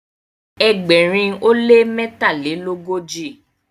ẹgbẹrin o le mẹtalelogoji